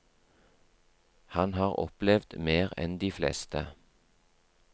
Han har opplevd mer enn de fleste.